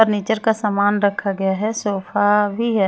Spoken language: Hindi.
फर्नीचर का सामान रखा गया है सोफा भी है।